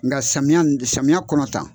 Nka samiya in samiya kɔnɔ tan.